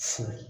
Fo